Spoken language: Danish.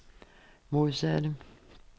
modsatte